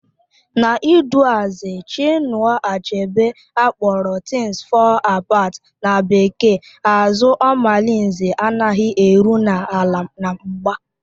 N'iduazị Chinua Achebe akpọrọ Things fall Apart na bekee, àzụ́ Omalinze anaghị eru n'ala na mgba